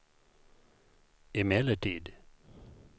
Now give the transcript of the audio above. emellertid